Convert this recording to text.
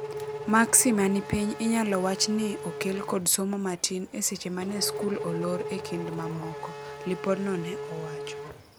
"Maksi mani pich inyalo wach ni okel kod somo matin e seche mane skul olor e kind mamoko," lipod no ne owacho.